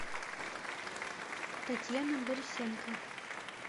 татьяна борисенко